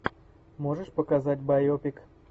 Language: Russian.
можешь показать байопик